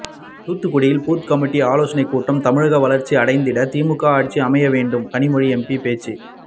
தூத்துக்குடியில் booth committee ஆலோசனை கூட்டம் தமிழகம் வளர்ச்சி அடைந்திட திமுக ஆட்சி அமையவேண்டும் கனிமொழி எம்பி பேச்சு